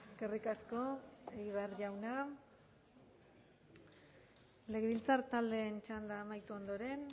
eskerrik asko egibar jauna legebiltzar taldeen txanda amaitu ondoren